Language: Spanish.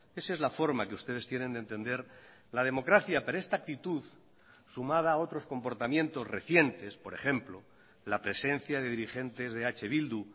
esa es la forma que ustedes tienen de entender la democracia pero esta actitud sumada a otros comportamientos recientes por ejemplo la presencia de dirigentes de eh bildu